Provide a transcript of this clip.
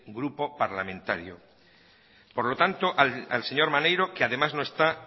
grupo parlamentario por lo tanto al señor maneiro que además no está